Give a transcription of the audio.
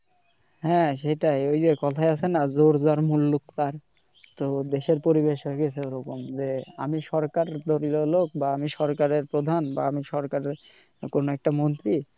হ্যাঁ সেটাই ওই যে কথায় আছে না জোর যার মুল্লুক তার তো দেশের পরিবেশ হয়ে গেছে ও রকম যে আমি সরকার দলীয় লোক বা আমি সরকারের প্রধান বা আমি সরকারের কোন একটা মন্ত্রী